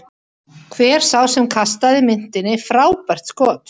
Hver sá sem kastaði myntinni, frábært skot!